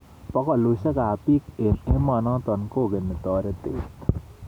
Bokolushek ab bik eng emonotok kokeni toretet.